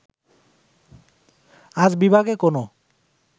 আজ বিভাগে কোন